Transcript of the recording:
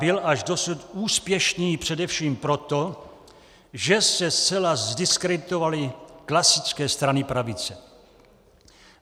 Byl až dosud úspěšný především proto, že se zcela zdiskreditovaly klasické strany pravice.